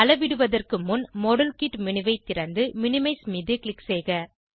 அளவிடுவதற்கு முன் model kit menu ஐ திறந்து மினிமைஸ் மீது க்ளிக் செய்க